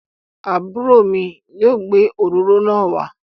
Àbúrò mi ọkùnrin yóò gbé òróró náà wá.